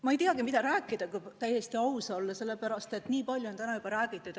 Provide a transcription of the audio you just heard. Ma ei teagi, mida rääkida, kui täiesti aus olla, sellepärast et nii palju on täna juba räägitud.